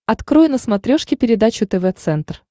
открой на смотрешке передачу тв центр